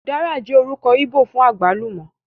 Ùdára ní orúkọ íbò fún àgbálùmọ́